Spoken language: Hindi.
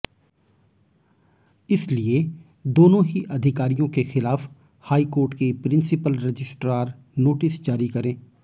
इसलिए दोनों ही अधिकारियों के खिलाफ हाईकोर्ट की प्रिंसिपल रजिस्ट्रार नोटिस जारी करें